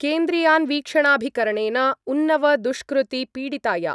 केन्द्रीयान्वीक्षणाभिकरणेन उन्नव दुष्कृति पीडिताया